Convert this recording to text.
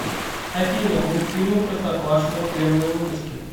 афина мульфильмы простоквашино первые выпуски